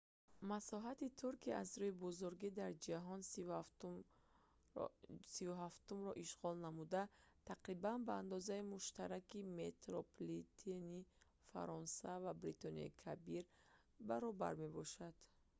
масоҳати туркия аз рӯи бузургӣ дар ҷаҳон 37-умро ишғол намуда тақрибан ба андозаи муштараки метрополитени фаронса ва бритониёи кабир баробар мебошад